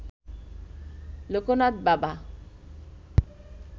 লোকনাথ বাবা